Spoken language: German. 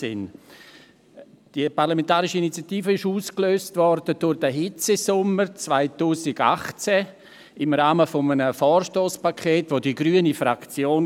Diese parlamentarische Initiative wurde durch den Hitzesommer 2018 ausgelöst und erfolgte im Rahmen eines Vorstosspakets der grünen Fraktion.